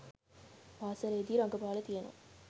පාස‍ලේදී රඟපාලා තියෙනවා